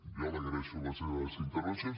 jo li agraeixo les seves intervencions